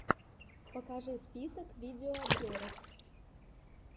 покажи список видеообзоров